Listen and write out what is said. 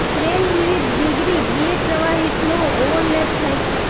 crane વિવિધ degree બે પ્રવાહી ફ્લો ઓવરલેપ થાય છે